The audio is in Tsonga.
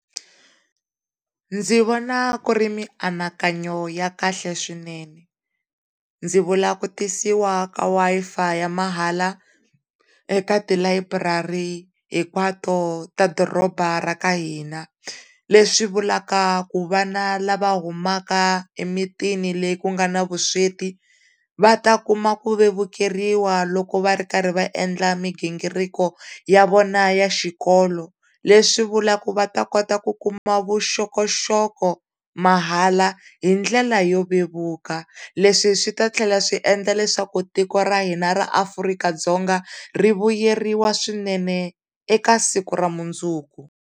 Ndzi vona ku ri mianakanyo ya kahle swinene ndzi vula ku tisiwa ka Wi-Fi ya mahala eka tilayiburari hinkwato ta doroba ra ka hina leswi vulaka ku vana lava humaka emitini leyi ku nga ni vusweti va ta vevukeriwa loko va ri karhi va endla mighingiriko ya vona ya xikolo leswi vulaka ku va ta kota ku kuma vuxokoxoko mahala hi ndlela yo vevuka leswi swi ta tlhela swi endla leswaku tiko ra hina ra Afrika-Dzonga rivuyeriwa swinene eka siku ra mundzuku.